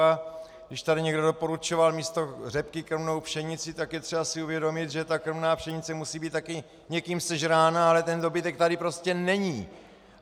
A když tady někdo doporučoval místo řepky krmnou pšenici, tak je třeba si uvědomit, že ta krmná pšenice musí být také někým sežrána, ale ten dobytek tady prostě není.